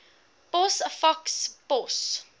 pos faks pos